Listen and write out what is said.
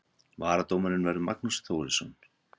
Varadómari verður Magnús Þórisson.